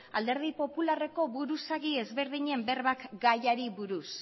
alderdi popularreko buruzagi ezberdinen berbak gaiari buruz